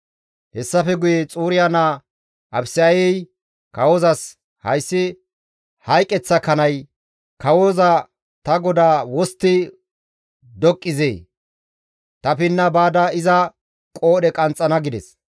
Hessafe guye Xuriya naa Abisayey kawozas, «Hayssi hayqeththa kanay, kawoza ta godaa wostti doqqizee? Ta pinna baada iza qoodhe qanxxana» gides.